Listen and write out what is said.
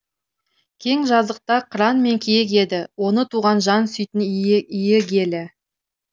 кең жазықта қыран мен киік еді оны туған жан сүтін иігелі